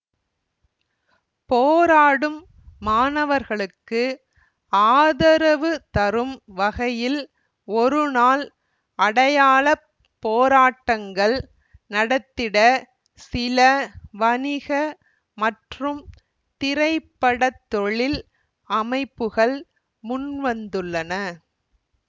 போராடும் மாணவர்களுக்கு ஆதரவு தரும் வகையில் ஒருநாள் அடையாள போராட்டங்கள் நடத்திட சில வணிக மற்றும் திரைப்படத்தொழில் அமைப்புகள் முன்வந்துள்ளன